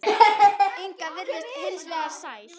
Inga virtist hins vegar sæl.